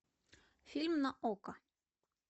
фильм на окко